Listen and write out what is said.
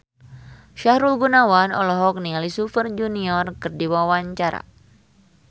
Sahrul Gunawan olohok ningali Super Junior keur diwawancara